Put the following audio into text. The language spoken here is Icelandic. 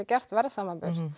verðsamanburð